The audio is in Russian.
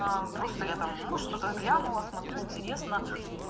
просто я там ну что-то глянула смотрю интересно